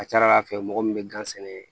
A ka ca ala fɛ mɔgɔ min bɛ gan sɛnɛ